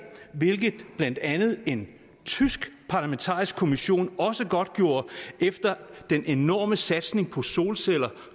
hvilket blandt andet en tysk parlamentarisk kommission også godtgjorde efter den enorme satsning på solceller